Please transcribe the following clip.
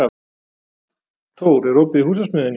Thór, er opið í Húsasmiðjunni?